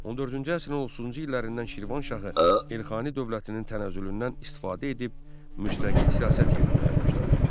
14-cü əsrin 30-cu illərindən Şirvanşahı Elxani dövlətinin tənəzzülündən istifadə edib müstəqil siyasət yeritməyə başladı.